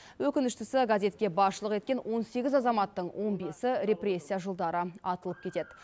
өкініштісі газетке басшылық еткен он сегіз азаматтың он бесі репрессия жылдары атылып кетеді